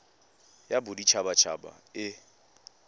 ya bodit habat haba e